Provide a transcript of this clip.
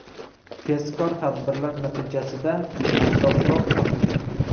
Tezkor tadbirlar natijasida avtoulov topilgan.